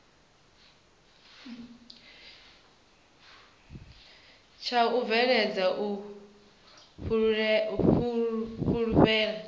tsha u bveledza u fhulufhelana